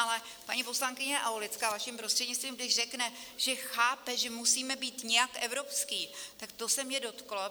Ale paní poslankyně Aulická, vaším prostřednictvím, když řekne, že chápe, že musíme být nějak evropští, tak to se mě dotklo.